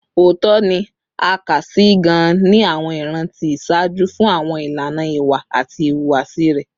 Ootọ ni a kasi gaan ni awọn iran ti iṣaaju fun awọn ilana iwa ati ihuwasi rẹ